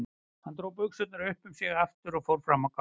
Hún dró buxurnar upp um sig aftur og fór fram á gang.